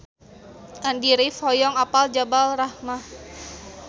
Andy rif hoyong apal Jabal Rahmah